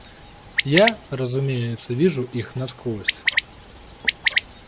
я разумеется вижу их насквозь